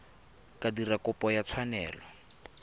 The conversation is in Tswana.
ka dira kopo ya tshwanelo